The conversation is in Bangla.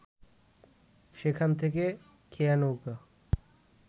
সেখান থেকে খেয়া নৌকা